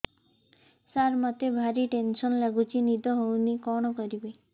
ସାର ମତେ ଭାରି ଟେନ୍ସନ୍ ଲାଗୁଚି ନିଦ ହଉନି କଣ କରିବି